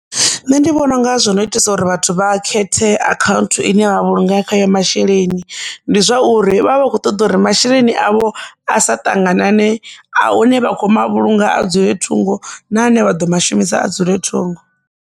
Nṋe ndi vhona unga zwino itisa uri vhathu vha khethe account ine vha vhulunga khayo masheleni ndi zwauri vha vha vha kho ṱoḓa uri masheleni avho a sa ṱanganane a hune vha kho ma vhulunga a dzule thungo na ane vha ḓo mashumisa a dzule thungo.